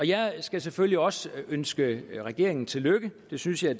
jeg skal selvfølgelig også ønske regeringen tillykke det synes jeg